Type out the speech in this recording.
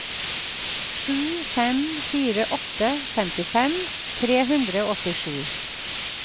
sju fem fire åtte femtifem tre hundre og åttisju